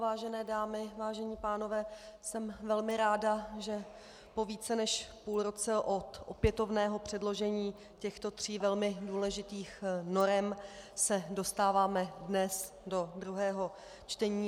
Vážené dámy, vážení pánové, jsem velmi ráda, že po více než půl roce od opětovného předložení těchto tří velmi důležitých norem se dostáváme dnes do druhého čtení.